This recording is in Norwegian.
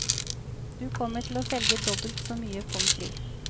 Du kommer til å selge dobbelt så mye pomfri.